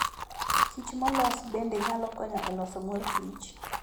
Kich molos bende nyalo konyo e loso mor kich.